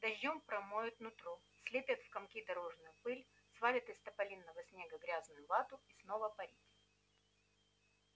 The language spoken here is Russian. дождём промоют нутро слепят в комки дорожную пыль свалят из тополиного снега грязную вату и снова парить